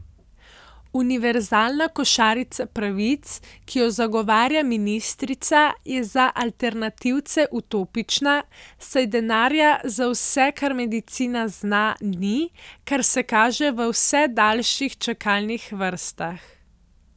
Univerzalna košarica pravic, ki jo zagovarja ministrica, je za alternativce utopična, saj denarja za vse, kar medicina zna, ni, kar se kaže v vse daljših čakalnih vrstah.